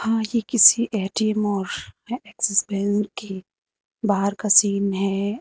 आगे किसी ए_टी_एम और एक्सिस बैंक के बाहर का सीन है।